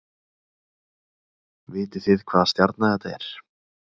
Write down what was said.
Vitið þið hvaða stjarna þetta er